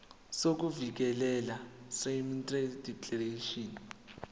sokuvikeleka seindemnity declaration